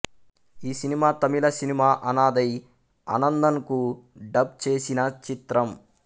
ఈ cinema Tamil cinema Anadhai అనందన్కు dub చేసిన చిత్రం